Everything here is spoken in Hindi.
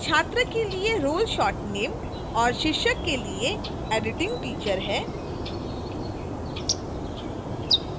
छात्र के लिए role short name और शिक्षक के लिए editingteacher है